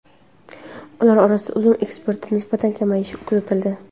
Ular orasida uzum eksportida nisbatan kamayish kuzatildi.